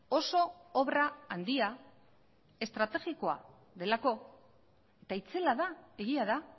oso obra handia estrategikoa delako eta itzela da egia da